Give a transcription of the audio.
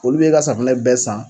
Olu b'ɛ ka safunɛ bɛɛ san